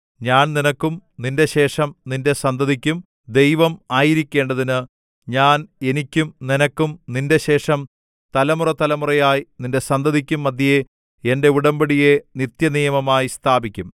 ഞാൻ നിനക്കും നിന്റെ ശേഷം നിന്റെ സന്തതിക്കും ദൈവം ആയിരിക്കേണ്ടതിന് ഞാൻ എനിക്കും നിനക്കും നിന്റെ ശേഷം തലമുറതലമുറയായി നിന്റെ സന്തതിക്കും മദ്ധ്യേ എന്റെ ഉടമ്പടിയെ നിത്യനിയമമായി സ്ഥാപിക്കും